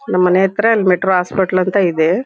ನಮ್ ಮನೆ ಹತ್ರ ಮೆಟ್ರೋ ಹಾಸ್ಪೆಟಲ್ ಅಂತ ಇದೆ.